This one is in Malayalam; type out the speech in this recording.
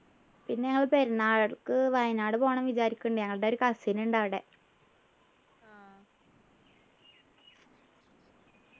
പിന്നെ ഞങ്ങള് പെരുന്നാൾടക്ക് വയനാട് പോണം വിചാരിക്ക്ണ്ണ്ട് ഞങ്ങളുടെ ഒരു cousin ഉണ്ട് അവിടെ